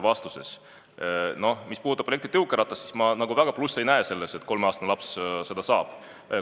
Aga mis puudutab elektritõukeratast, siis ma plusse ei näe, kui kolmeaastane laps selle saaks.